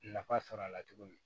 Nafa sɔrɔ a la cogo min